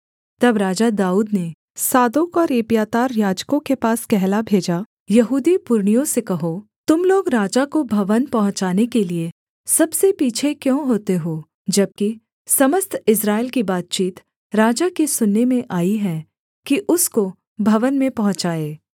तब राजा दाऊद ने सादोक और एब्यातार याजकों के पास कहला भेजा यहूदी पुरनियों से कहो तुम लोग राजा को भवन पहुँचाने के लिये सबसे पीछे क्यों होते हो जबकि समस्त इस्राएल की बातचीत राजा के सुनने में आई है कि उसको भवन में पहुँचाए